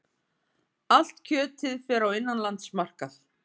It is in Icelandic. Allt kjötið fer á innanlandsmarkað